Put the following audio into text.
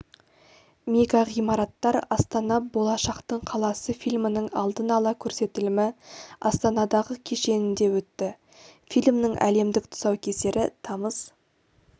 мегағимараттар астана болашақтың қаласы фильмінің алдын ала көрсетілімі астанадағы кешенінде өтті фильмнің әлемдік тұсаукесері тамыз